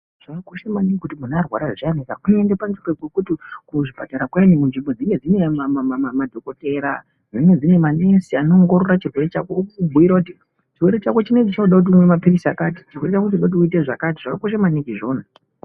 Zvakakosha maningi kuti munhu arwara zviyani uende payani pokuti kuzvipatara kuyani kunzvimbo dzinenge dzinemadhokotera dzinenge dzinemanesi anoongorora chirwere chako, kubhuira kuti chirwere chako chinechi chinoda kuti umwe maphirizi akati, chirwere chako chinoda kuti uite zvakati, zvakakosha maningi izvozvo.